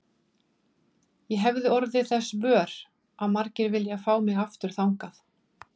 Ég hefi orðið þess vör að margir vilja fá mig aftur þangað.